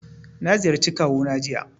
Na ziyarci kawu na jiya